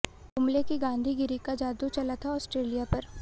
कुंबले की गांधीगिरी का जादू चला था आस्ट्रेलिया पर